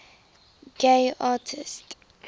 gay artists